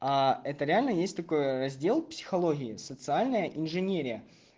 а это реально есть такой раздел психологии социальная инженерия